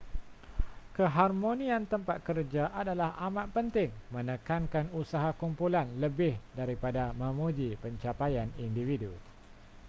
keharmonian tempat kerja adalah amat penting menekankan usaha kumpulan lebih daripada memuji pencapaian individu